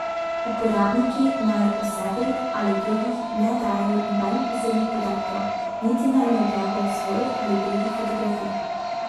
Uporabniki naj o sebi ali drugih ne dajejo nobenih osebnih podatkov, niti naj ne objavljajo svojih ali drugih fotografij.